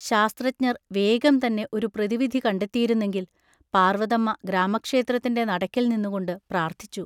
ശാസ്ത്രജ്ഞർ വേഗംതന്നെ ഒരു പ്രതിവിധി കണ്ടെത്തിയിരുന്നെങ്കിൽ, പാർവതമ്മ ഗ്രാമക്ഷേത്രത്തിൻ്റെ നടയ്ക്കൽനിന്നുകൊണ്ട് പ്രാർത്ഥിച്ചു.